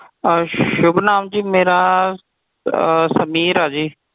ਅਹ ਸ਼ੁਭ ਨਾਮ ਜੀ ਮੇਰਾ ਸਮੀਰ ਆ ਜੀ